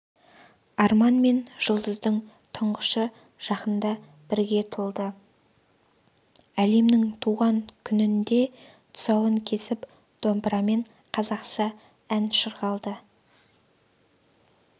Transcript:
арман мен жұлдыздың тұңғышы жақында бірге толды әлемнің туған күнінде тұсауын кесіп домбырамен қазақша ән шырқалыпты